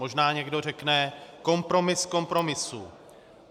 Možná někdo řekne kompromis kompromisů.